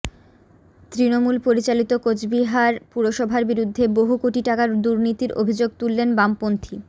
তৃণমূল পরিচালিত কোচবিহার পুরসভার বিরুদ্ধে বহু কোটি টাকার দুর্নীতির অভিযোগ তুললেন বামপন্থী